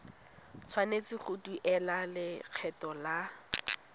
tshwanetse go duela lekgetho la